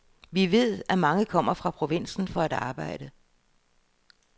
Vi ved, at mange kommer fra provinsen for at arbejde.